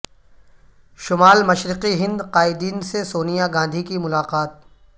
شمال مشرقی ہند قائدین سے سونیا گاندھی کی ملاقات